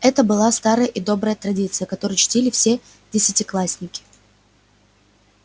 это была старая и добрая традиция которую чтили все десятиклассники